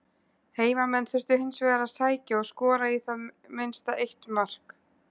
Heimamenn þurftu hins vegar að sækja og skora í það minnsta eitt mark.